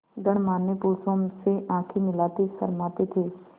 गणमान्य पुरुषों से आँखें मिलाते शर्माते थे